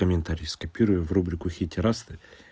комментарий скопируй и в рубрику хэйтерасты